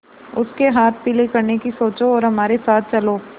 उसके हाथ पीले करने की सोचो और हमारे साथ चलो